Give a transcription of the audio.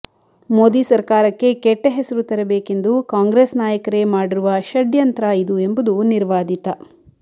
ಮೋದಿ ಸರ್ಕಾರಕ್ಕೆ ಕೆಟ್ಟ ಹೆಸರು ತರಬೇಕೆಂದು ಕಾಂಗ್ರೆಸ್ ನಾಯಕರೇ ಮಾಡಿರುವ ಷಡ್ಯಂತ್ರ ಇದು ಎಂಬುದು ನಿರ್ವಾದಿತ